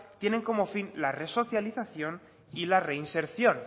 tienen como fin la resocialización y la reinserción